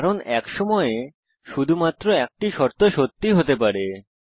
কারণ এক সময়ে শুধুমাত্র একটি শর্ত সত্যি হতে পারে